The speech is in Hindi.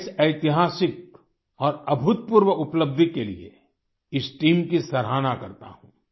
मैं इस ऐतिहासिक और अभूतपूर्व उपलब्धि के लिए इस टीम की सराहना करता हूँ